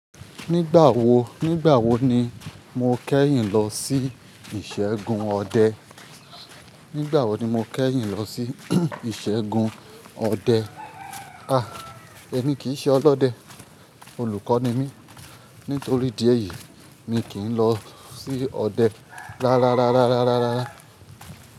Nígbà wo, nígbà wo ni mo kẹ́yìn lọ sí ìṣẹ́gun ọdẹ? Nígbà wo ni mo kẹ́yìn lọ sí ìṣẹ́gun ọdẹ? A! Èmi kì í ṣe ọlọ́dẹ, olùkọ́ ni mí. Nítorí ìdí èyí mi kì í lọ sí ọdẹ rárá rárá rárá rárá.